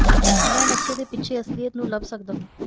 ਮੈ ਨਕਸ਼ੇ ਦੇ ਪਿੱਛੇ ਅਸਲੀਅਤ ਨੂੰ ਲੱਭ ਸਕਦਾ ਹਾਂ